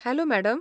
Hello madam.